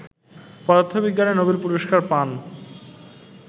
পদার্থবিজ্ঞানে নোবেল পুরস্কার পান